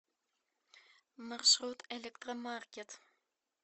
маршрут электромаркет